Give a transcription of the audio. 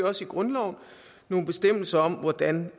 også i grundloven nogle bestemmelser om hvordan